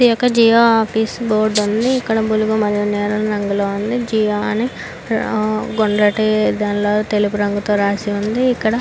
ఇదొక Jio office board ఉంది ఇది బ్లూ మరియు నీలం రంగులో ఉంది జిఓ అని గుండ్రటి దాంట్లో తెలుపు రంగులో రాసివుంది.